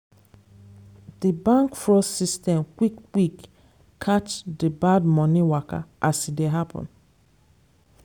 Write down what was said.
di bank fraud system quick quick catch the bad money waka as e dey happen.